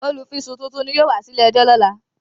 Olùfisùn titun ni yóò wá sí ilé ẹjọ́ ní ọ̀la